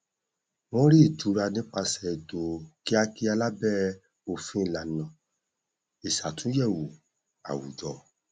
wọn rí ìtura nípasẹ ètò kíakíá lábẹ òfin ìlànà ìṣàtúnyẹwò àwùjọ